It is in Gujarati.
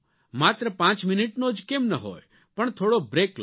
માત્ર પાંચ મિનિટનો જ કેમ ન હોય પણ થોડો બ્રેક લો